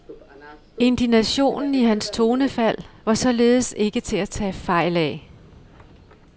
Indignationen i hans tonefald var således ikke til at tage fejl af.